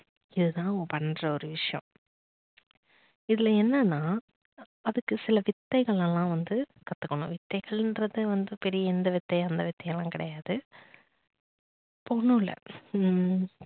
இதுதான் அவங்க பண்ற ஒரு விஷயம். இதுல என்ன நா அதுக்கு சில வித்தைகள் எல்லாம் வந்து கத்துக்கணும். வித்தைகள்றது வந்து பெரிய இந்த வித்தை அந்த வித்தை எல்லாம் கிடையாது ஒன்னும் இல்ல